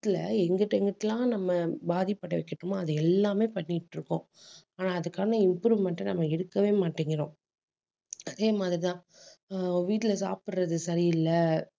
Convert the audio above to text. எங்ககிட்ட எங்க கிட்ட எல்லாம் நம்ம பாதிப்படைய வச்சுட்டோமோ அது எல்லாமே பண்ணிட்டிருக்கோம். ஆனா அதுக்கான improvement அ நம்ம இருக்கவே மாட்டேங்கிறோம். அதே மாதிரிதான் ஆஹ் வீட்டுல சாப்பிடறது சரியில்லை